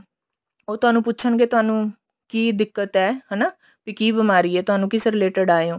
ਉਹ ਤੁਹਾਨੂੰ ਪੁੱਛਣਗੇ ਤੁਹਾਨੂੰ ਕਿ ਦਿੱਕਤ ਹੈ ਹਨਾ ਵੀ ਕਿ ਬਿਮਾਰੀ ਹੈ ਤੁਹਾਨੂੰ ਕਿਸ related ਆਏ ਹੋ